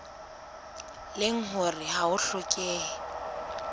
leng hore ha ho hlokehe